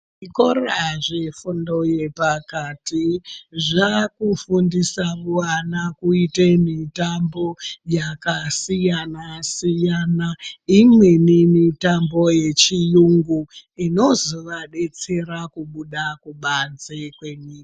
Zvikora zvefundo yepakati zvakufundisa vana kuite mutanbo yakasiyana siyana imweni mitambo yechiyungu inozovadetsera kubuda kubanze kwenyika.